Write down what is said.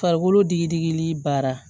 Farikolo digili baara